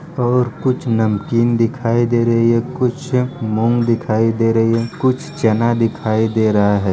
और कुछ नमकीन दिखाई दे रहे हैं कुछ मूंग दिखाई दे रहे हैं कुछ चना दिखाई दे रहा हैं ।